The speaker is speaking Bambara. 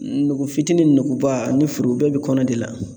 Nugu fitinin nuguba ani foroba bi kɔnɔ de la